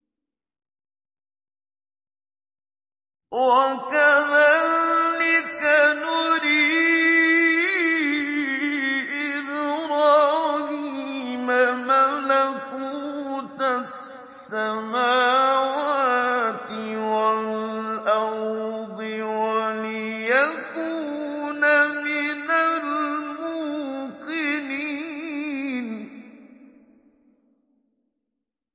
وَكَذَٰلِكَ نُرِي إِبْرَاهِيمَ مَلَكُوتَ السَّمَاوَاتِ وَالْأَرْضِ وَلِيَكُونَ مِنَ الْمُوقِنِينَ